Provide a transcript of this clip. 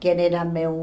Quem era meu...